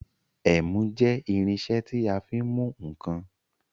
Ẹ̀mú jẹ́ irinṣẹ́ tí a fi ń mú ǹkan.